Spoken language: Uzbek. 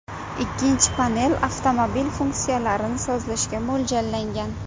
Ikkinchi panel avtomobil funksiyalarini sozlashga mo‘ljallangan.